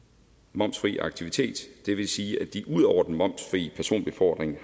momsfri aktivitet det vil sige at de ud over den momsfrie personbefordring